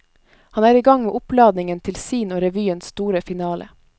Han er i gang med oppladningen til sin og revyens store finale.